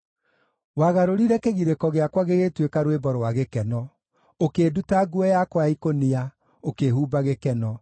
Wagarũrire kĩgirĩko gĩakwa gĩgĩtuĩka rwĩmbo rwa gĩkeno; ũkĩnduta nguo yakwa ya ikũnia, ũkĩhumba gĩkeno,